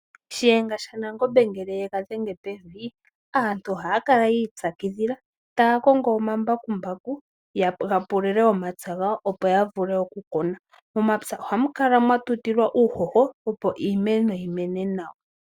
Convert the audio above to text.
Shiyenga shaNangombe ngele ye ga dhenge pevi aantu ohaya kala yi ipyakidhila taya kongo omambakumbaku ga pulule omapya gawo, opo ya vule okukuna. Momapya ohamu kala mwa tutilwa uuhoho, opo iimeno yi mene nawa.